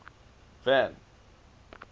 van